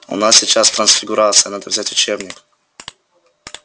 у нас сейчас трансфигурация надо взять учебник